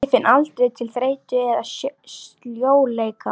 Ég finn aldrei til þreytu eða sljóleika.